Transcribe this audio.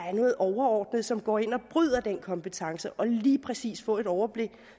er noget overordnet som går ind og bryder den kompetence og lige præcis få et overblik